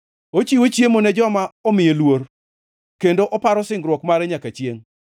Ochiwo chiemo ne joma omiye luor, kendo oparo singruok mare nyaka chiengʼ.